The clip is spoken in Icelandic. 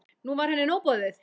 Nú var henni nóg boðið.